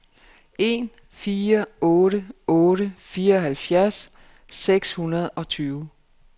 en fire otte otte fireoghalvfjerds seks hundrede og tyve